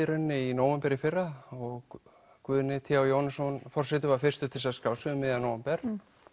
í nóvember í fyrra og Guðni t h Jóhannesson forseti var fyrstur til að skrá sig um miðjan nóvember